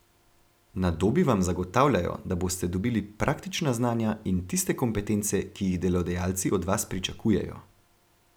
Na Dobi vam zagotavljajo, da boste dobili praktična znanja in tiste kompetence, ki jih delodajalci od vas pričakujejo.